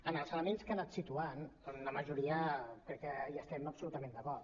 en els elements que ha anat situant la majoria crec que hi estem absolutament d’acord